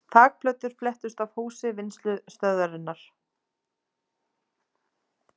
Þakplötur flettust af húsi Vinnslustöðvarinnar